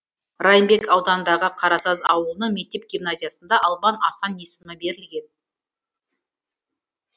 райымбек ауданындағы қарасаз ауылының мектеп гимназиясына албан асан есімі берілген